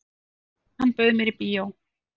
"""Já, hann bauð mér í bíó."""